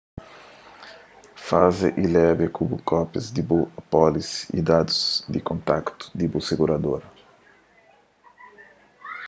faze y leba ku bo kópias di bu apólisi y dadus di kontaktu di bu siguradora